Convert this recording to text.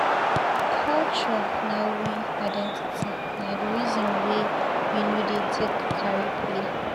Culture na we identity na di reason wey we no dey take carry play.